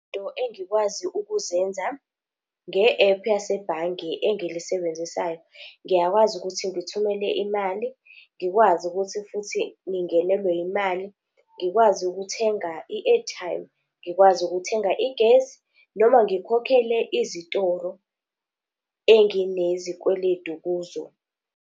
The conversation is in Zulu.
Izinto engikwazi ukuzenza nge-app yasebhange engilisebenzisayo, ngiyakwazi ukuthi ngithumele imali, ngikwazi ukuthi futhi ngingenelwe imali. Ngikwazi ukuthenga i-airtime, ngikwazi ukuthenga igesi, noma ngikhokhele izitoro, enginezikweletu kuzo.